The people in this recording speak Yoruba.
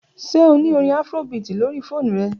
Ṣe o ni orin Afrobeat lori foonu rẹ?